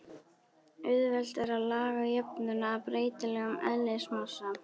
Auðvelt er að laga jöfnuna að breytilegum eðlismassa.